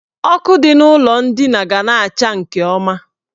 Ọkụ dị n' ụlọ ndina ga na-acha nke ọma.